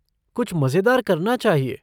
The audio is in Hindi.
कुछ मज़ेदार करना चाहिए।